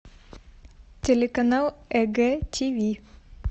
телеканал егэ тв